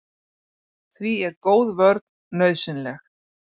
Því er góð vörn nauðsynleg.